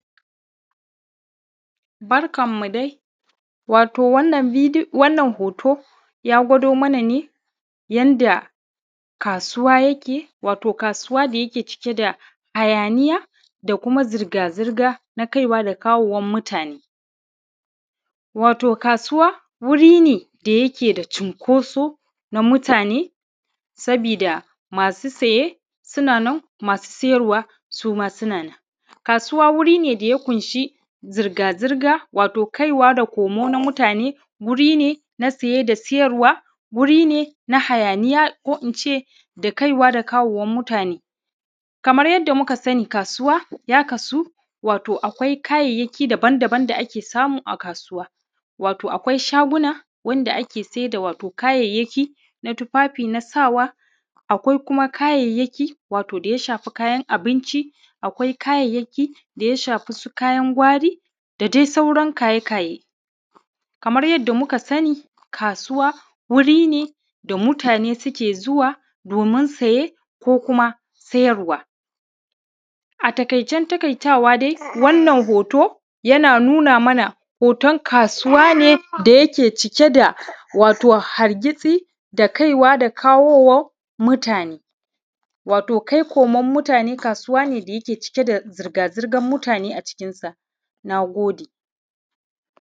Barkanmu dai wato wannan bid wannan hoto ya gwado mana ne yanda kasuwa yake wato kasuwa da yake cike da hayaniya da kuma zirgazirga na kai wa da kawowan mutane. Wato, kasuwa wuri ne da yake da cinkoso na mutane saboda masu siye suna nan masu siyarwa, suma suna nan kasuwa wuri ne da ya ƙunshi zirga-zirga wato kaiwa da komo na muatne wuri ne na saye da sayarwa wuri ne na hayaniya ko in ce na kaiwa da komowan mutane kamar yadda mukasani, kasuwa ya kasu akwai kayyakayaki daban-daban da ake samu a kasuwa, wato akwai shaguna, wato wanda ake sayar da kayayyaki na tufafi na sawa kawai kuma kayyaki wato da ya shafi kayan abinci. Akwai kayayyaki da ya sahfi su kayan kwari da dai sauran kayekaye kamar yadda muka sani kasuwa wuri ne da mutane suke zuwa domin saye ko kuma sayarwa. A taƙiacen taƙaitawa dai wannan hoto yana nuna mana hoton kasuwa ne da yake cike da wato hargitsi da kaiwa da kawowan mutane wato kai koman mutane, kasuwa ne da yake cike da zirga-zirgan mutane a cikin sa. Na gode.